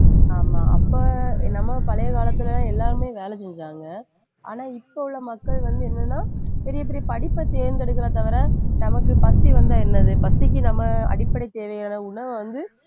ஆமா அப்ப என்னமோ பழைய காலத்துல எல்லாருமே வேலை செஞ்சாங்க. ஆனா இப்ப உள்ள மக்கள் வந்து என்னன்னா பெரிய பெரிய படிப்பைத் தேர்ந்தெடுக்கறத தவிர நமக்குப் பசி வந்தா என்னது? பசிக்கு நம்ம அடிப்படை தேவையான உணவை வந்து